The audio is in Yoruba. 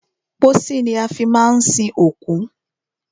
Pósí ni a fi má ń sin òkú.